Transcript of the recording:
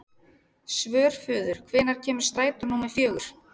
Svörfuður, hvenær kemur strætó númer fjögur?